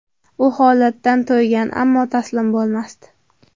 U holdan toygan, ammo taslim bo‘lmasdi.